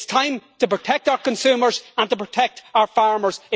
It is time to protect our consumers and to protect our farmers.